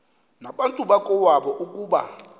nabantu bakowabo ukuba